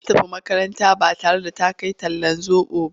Ta tafi makaranta ba tare da ta kai talllan zoɓo ba.